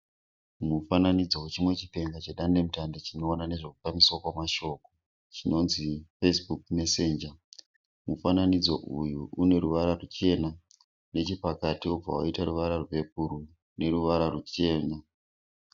Mufananidzo wechimwe chipenga chedandemutande chinoona nezvekufambiswa kwemashoko chinonzi Facebook messenger , mufananidzo uyu une ruvara ruchena nechepakati wobva waita ruvara rwebhuruu neruvara ruchena.